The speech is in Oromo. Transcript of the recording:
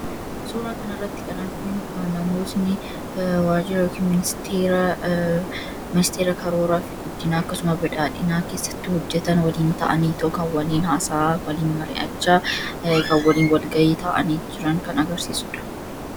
Suuraa kana irratti kan arginuu namoonni wajiira yookiin ministera karooraafi guddinaa akkasumaas badhadhinnaa keessaatti hojeetaan waliin ta'anitoo kan hasaa'aan, waliin mari'achaa, kan waliin walga'ii ta'ani jiraan kan agarsisuudha.